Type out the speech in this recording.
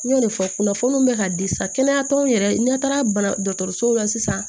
N y'o de fɔ kunnafoniw bɛ ka di sa kɛnɛyata yɛrɛ n'i taara dɔgɔtɔrɔsow la sisan